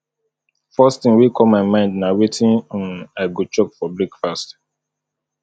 first thing wey come my mind na wetin um i go chop for breakfast